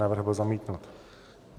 Návrh byl zamítnut.